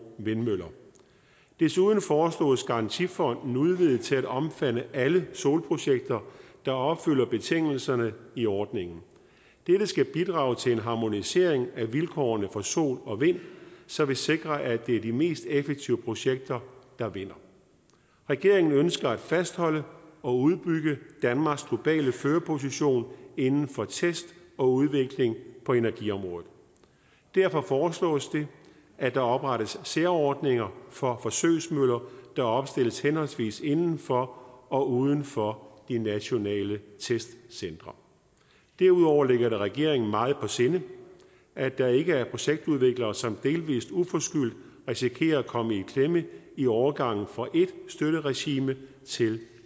vindmøller desuden foreslås garantifonden udvidet til at omfatte alle solprojekter der opfylder betingelserne i ordningen dette skal bidrage til en harmonisering af vilkårene for sol og vind som vil sikre at det er de mest effektive projekter der vinder regeringen ønsker at fastholde og udbygge danmarks globale førerposition inden for test og udvikling på energiområdet derfor foreslås det at der oprettes særordninger for forsøgsmøller der opstilles henholdsvis inden for og uden for de nationale testcentre derudover ligger det regeringen meget på sinde at der ikke er projektudviklere som delvis uforskyldt risikerer at komme i klemme i overgangen fra et støtteregime til